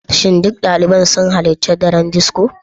Shin duk daliban sun halarci daren disco?